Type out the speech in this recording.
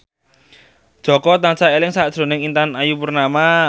Jaka tansah eling sakjroning Intan Ayu Purnama